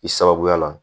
I sababuya la